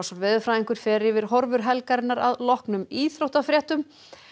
veðurfræðingur fer yfir horfur helgarinnar að loknum íþróttafréttum